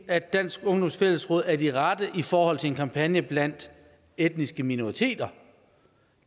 at dansk ungdoms fællesråd er de rette i forhold til en kampagne blandt etniske minoriteter